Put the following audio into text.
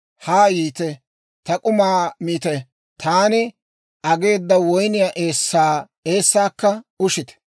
«Haa yiite; ta k'umaa miite; taani ageeda woyniyaa eessaakka ushite!